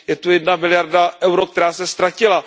Je zde jedna miliarda EUR, která se ztratila.